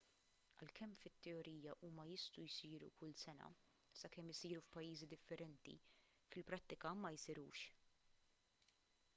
għalkemm fit-teorija huma jistgħu jsiru kull sena sakemm isiru f'pajjiżi differenti fil-prattika ma jsirux